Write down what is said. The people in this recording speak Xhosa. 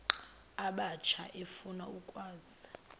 abatsha efuna ukwazi